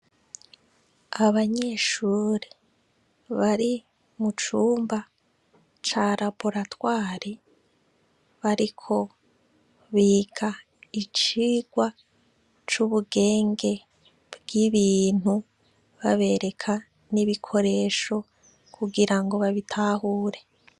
Abanyeshure bari mu cumba ca Raboratware bariko biga icigwa c'ubugenge bw'ibintu babereka n'ibikoresho kugira ngo babitahure.